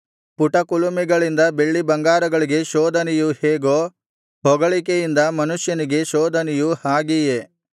ಪುಟಕುಲುಮೆಗಳಿಂದ ಬೆಳ್ಳಿಬಂಗಾರಗಳಿಗೆ ಶೋಧನೆಯು ಹೇಗೋ ಹೊಗಳಿಕೆಯಿಂದ ಮನುಷ್ಯನಿಗೆ ಶೋಧನೆಯು ಹಾಗೆಯೇ